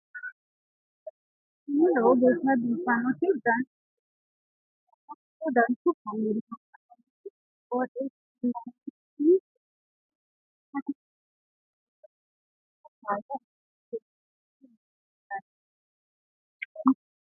tini lowo geeshsha biiffannoti dancha gede biiffanno footo danchu kaameerinni haa'noonniti qooxeessa biiffannoti tini kultannori maatiro seekkine la'niro biiffannota faayya ikkase kultannoke misileeti yaate